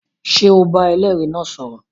Ṣé o bá ẹlẹ́rìí náà sọ̀rọ̀?